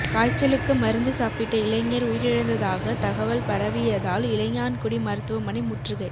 காய்ச்சலுக்கு மருந்து சாப்பிட்ட இளைஞா் உயிரிழந்ததாக தகவல் பரவியதால் இளையான்குடி மருத்துவமனை முற்றுகை